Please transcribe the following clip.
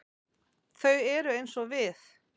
Þau eru eins og við.